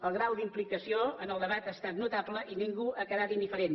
el grau d’implicació en el debat ha estat notable i ningú ha quedat indiferent